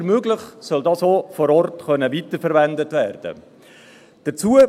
Wenn immer möglich, soll dieses auch vor Ort weiterverwendet werden können.